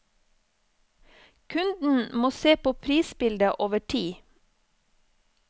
Kunden må se på prisbildet over tid.